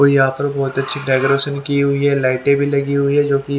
और यहां पर बहुत अच्छी डेकोरेशन की हुई है लाइटें भी लगी हुई है जो --